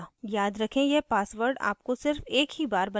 याद रखें यह password आपको सिर्फ एक बार ही बनाना है